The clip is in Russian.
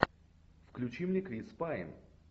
включи мне крис пайн